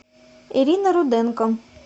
ирина руденко